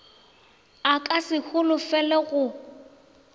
a ka se holofele go